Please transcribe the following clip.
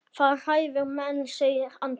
Það hræðir menn, segir Andrés.